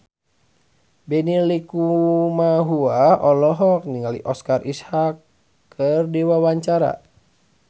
Benny Likumahua olohok ningali Oscar Isaac keur diwawancara